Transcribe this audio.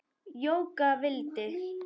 Jóka vildi.